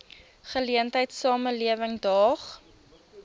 geleentheid samelewing daag